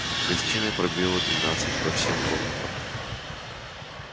в гостиной пробило двенадцать по всем комнатам